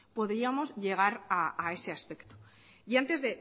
podríamos llegar a ese aspecto y antes